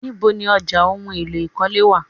Níbo ni ọjà ohùn èlò ikọle wá?